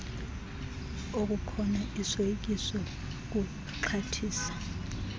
okukona isoyikiso ukuxhathisa